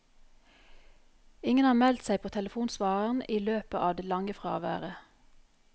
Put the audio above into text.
Ingen har meldt seg på telefonsvareren i løpet av det lange fraværet.